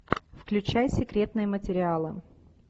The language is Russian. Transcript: включай секретные материалы